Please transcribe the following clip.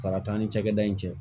Sara t'an ni cakɛda in cɛ